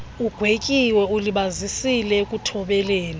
ugwetyiweyo ulibazisile ekuthobeleni